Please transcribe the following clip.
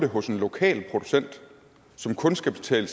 hos en lokal producent som kun skal betale